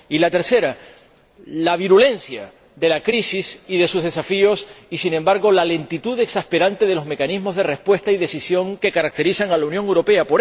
Y la tercera, la virulencia de la crisis y de sus desafíos y, sin embargo, la lentitud exasperante de los mecanismos de respuesta y decisión que caracterizan a la Unión Europea.